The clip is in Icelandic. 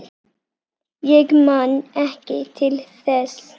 Ég man ekki til þess.